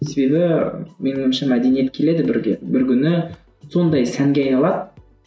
себебі менің ойымша мәдениет келеді бірге бір күні сондай сәнге айналады